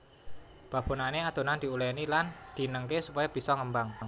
Babonané adonan diuléni lan dinengké supaya bisa ngembang